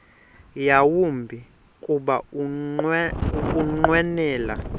yawumbi kuba ukunqwenela